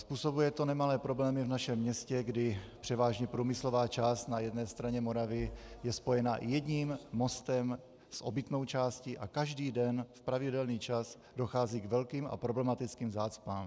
Způsobuje to nemalé problémy v našem městě, kdy převážně průmyslová část na jedné straně Moravy je spojena jedním mostem s obytnou částí a každý den v pravidelný čas dochází k velkým a problematickým zácpám.